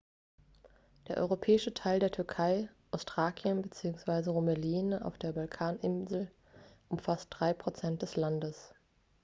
der europäische teil der türkei ostthrakien bzw. rumelien auf der balkanhalbinsel umfasst 3 % des landes